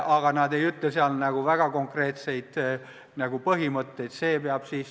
Aga nad ei ütle eriti konkreetseid põhimõtteid.